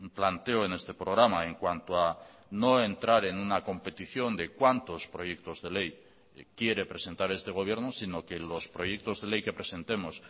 planteo en este programa en cuanto a no entrar en una competición de cuántos proyectos de ley quiere presentar este gobierno sino que los proyectos de ley que presentemos